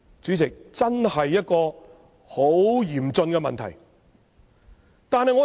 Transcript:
主席，這真的是很嚴峻的問題。